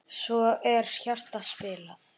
Svo er hjarta spilað.